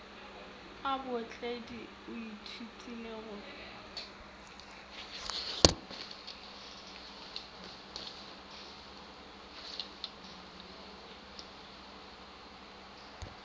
a bootledi o ithutile go